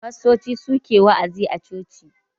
Fastoci su ke wa'azi a coci.